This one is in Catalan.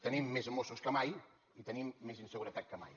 tenim més mossos que mai i tenim més inseguretat que mai